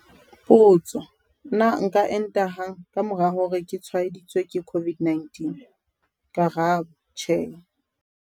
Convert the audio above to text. Potso- Na nka enta hang ka mora hore ke tshwaeditswe ke COVID-19? Karabo- Tjhe.